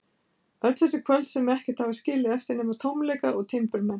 Öll þessi kvöld, sem ekkert hafa skilið eftir nema tómleika og timburmenn.